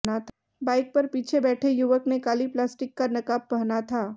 bike पर पीछे बैठे युवक ने काली प्लास्टिक का नकाब पहना था